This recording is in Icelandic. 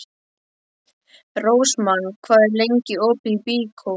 Rósmann, hvað er lengi opið í Byko?